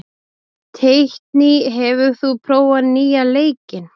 Teitný, hefur þú prófað nýja leikinn?